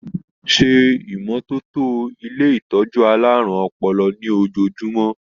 Se ìmọ́tótó ilé ìtọjú àlárún ọpọlọ ní ojoojumọ!.